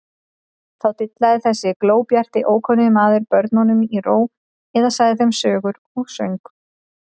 Þá dillaði þessi glóbjarti, ókunni maður börnunum í ró eða sagði þeim sögur og söng.